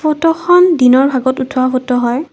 ফটোখন দিনৰ ভাগত উঠোৱা ফটো হয়।